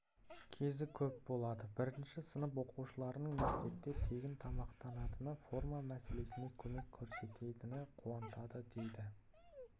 кезі көп болады бірінші сынып оқушыларының мектепте тегін тамақтанатыны форма мәселесінде көмек көрсететіні қуантады дейді